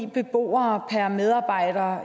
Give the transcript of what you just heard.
beboere per medarbejder